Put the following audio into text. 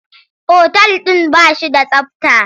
Otal ɗin ba shi da tsabta.